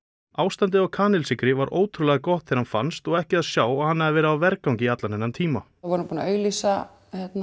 ástandið á kanilsykri var ótrúlega gott þegar hann fannst og ekki að sjá að hann hefði verið á vergangi í allan þennan tíma við vorum búin að auglýsa